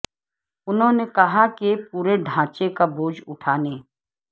انہوں نے کہا کہ پورے ڈھانچے کا بوجھ اٹھانے